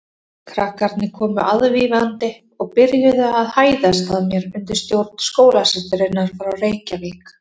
Krakkarnir komu aðvífandi og byrjuðu að hæðast að mér undir stjórn skólasysturinnar frá Reykjavík.